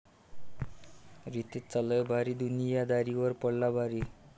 रितेशचा लय भारी दुनियादारीवर पडला भारी